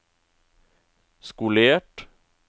skolert